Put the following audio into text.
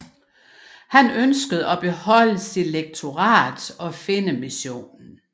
Han ønskede at beholde sit lektorat og Finnemissionen